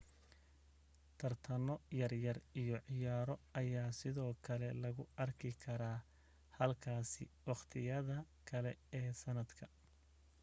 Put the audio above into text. tartano yar yar iyo ciyaaro ayaa sidoo kale lagu arki karaa halkaasi wakhtiyada kale ee sanadka